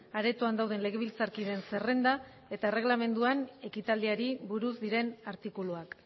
aretoan dauden legebiltzarkideen zerrenda eta erregelamenduan ekitaldiari buruz diren artikuluak